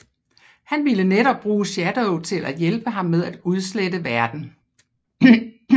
Han ville netop bruge Shadow til at hjælpe ham med at udslette verden